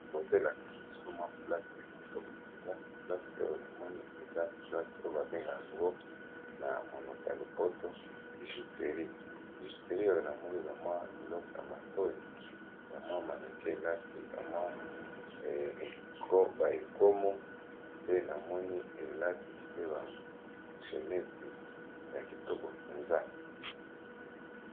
Awa, ezali bongo esika na lopoto babengi bijouterie. Ba tekisaka biloko ya matoyi, ya misapi, ya kingo pe ya liboko, ba bijoux ya kitoko.